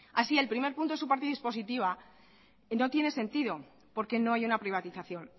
así el primer punto en su parte dispositiva no tiene sentido porque no hay una privatización